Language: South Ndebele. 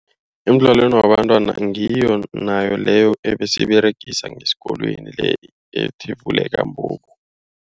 Emidlalweni wabantwana ngiyo nayo leyo abesiyiberegisa ngesikolweni. Le ethi vuleka mbobo.